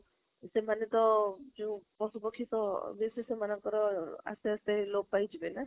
ସେମାନେ ତ ପଶୁ ପାଖି ତ obviously ସେଣମାଙ୍କର ଆସ୍ତେ ଆସ୍ତେ ହେଇ ଯିବେ ନା?